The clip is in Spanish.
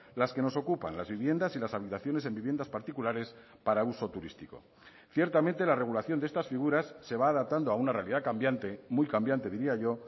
las que nos ocupan las viviendas y las habitaciones en viviendas particulares para uso turístico ciertamente la regulación de estas figuras se va adaptando a una realidad cambiante muy cambiante diría yo